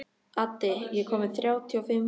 Addi, ég kom með þrjátíu og fimm húfur!